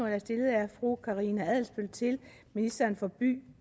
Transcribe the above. er stillet af fru karina adsbøl til ministeren for by